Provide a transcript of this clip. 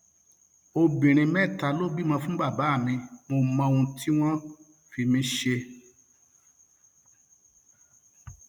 obìnrin mẹta ló bímọ fún bàbá mi mo mọ um ohun tí wọn fi mí ṣe um